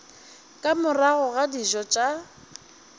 ka morago ga dijo tša